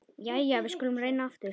Jæja, við skulum reyna aftur.